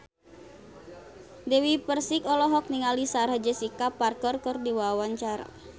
Dewi Persik olohok ningali Sarah Jessica Parker keur diwawancara